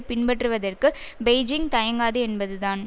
பின்பற்றுவதற்கு பெய்ஜிங் தயங்காது என்பது தான்